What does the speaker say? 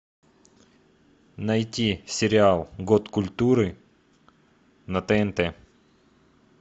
найти сериал год культуры на тнт